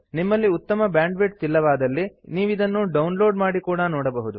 ನಿಮ್ಮಲ್ಲಿ ಉತ್ತಮ ಬ್ಯಾಂಡ್ವಿಡ್ಥ್ ಇಲ್ಲವಾದಲ್ಲಿ ನೀವಿದನ್ನು ಡೌನ್ಲೋಡ್ ಮಾಡಿ ಕೂಡಾ ನೋಡಬಹುದು